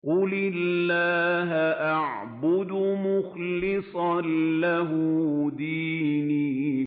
قُلِ اللَّهَ أَعْبُدُ مُخْلِصًا لَّهُ دِينِي